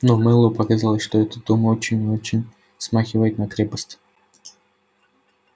но мэллоу показалось что этот дом очень и очень смахивает на крепость